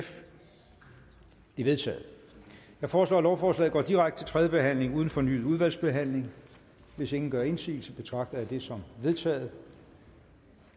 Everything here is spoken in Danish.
vedtaget jeg foreslår at lovforslaget går direkte til tredje behandling uden fornyet udvalgsbehandling hvis ingen gør indsigelse betragter jeg det som vedtaget